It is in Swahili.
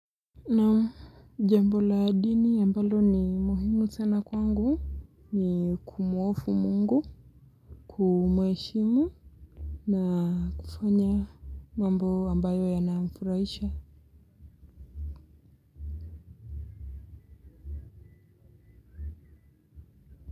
Naam jambo la dini ambalo ni muhimu sana kwangu ni kumwofu Mungu kumheshimu na kufanya mambo ambayo ya na mfurahisha.